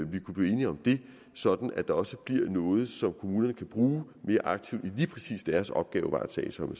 vi kunne blive enige om det sådan at der også bliver noget som kommunerne kan bruge mere aktivt i lige præcis deres opgavevaretagelse om